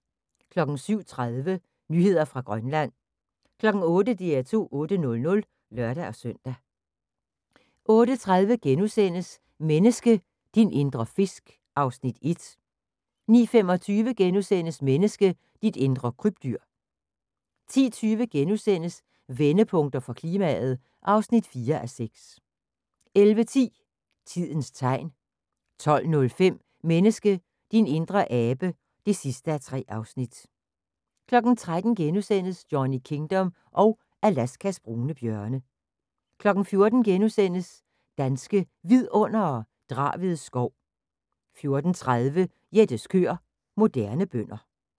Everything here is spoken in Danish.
07:30: Nyheder fra Grønland 08:00: DR2 8:00 (lør-søn) 08:30: Menneske – din indre fisk (Afs. 1)* 09:25: Menneske – dit indre krybdyr * 10:20: Vendepunkter for klimaet (4:6)* 11:10: Tidens Tegn 12:05: Menneske – din indre abe (3:3) 13:00: Johnny Kingdom og Alaskas brune bjørne * 14:00: Danske Vidundere: Draved skov * 14:30: Jettes køer – Moderne bønder